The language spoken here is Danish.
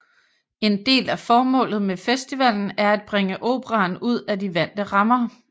En del af formålet med festivalen er at bringe operaen ud af de vante rammer